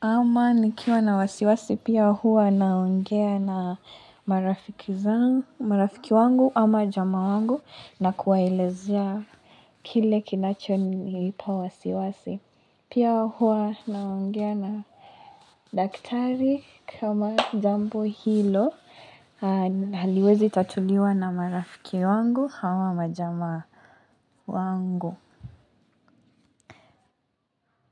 Ama nikiwa na wasiwasi, pia huwa naongea na marafiki wangu ama jamaa wangu na kuwaelezea kile kinacho nipa wasiwasi. Pia huwa na naongea na daktari kama jambo hilo haliwezi tatuliwa na marafiki wangu ama majama wangu.